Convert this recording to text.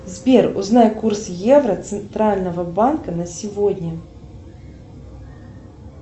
сбер узнай курс евро центрального банка на сегодня